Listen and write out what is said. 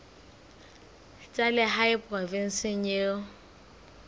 tsa lehae provinseng eo o